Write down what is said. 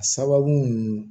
A sababu ninnu